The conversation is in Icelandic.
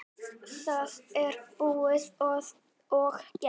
Það er búið og gert.